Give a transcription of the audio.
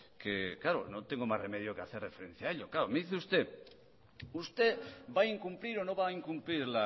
que claro no tengo más remedio que hacer referencia a ello me dice usted usted va a incumplir o no va a incumplir